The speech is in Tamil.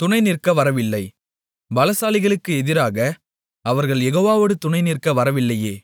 துணை நிற்க வரவில்லை பலசாலிகளுக்கு எதிராக அவர்கள் யெகோவாவோடு துணைநிற்க வரவில்லையே